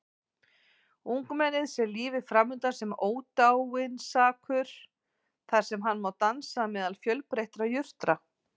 Ungmennið sér lífið framundan sem ódáinsakur þar sem hann má dansa meðal fjölbreyttra jurta.